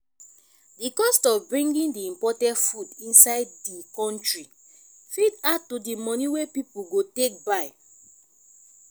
di cost of bringing di imported food inside di country fit add to di money wey pipo go take buy